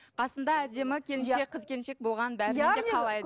қасында әдемі келіншек қыз келіншек болғанын қалайды